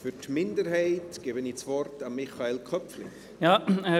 Für die Minderheit gebe ich Michael Köpfli das Wort.